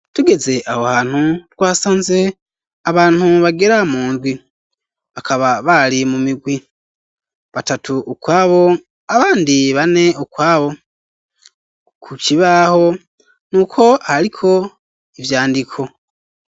Tugeze aho hantu, twasanze abantu bagera mundwi, bakaba bali mu migwi, batatu ukwabo ,abandi bane ukwabo ,kukibaho nuko haliko ivyandiko.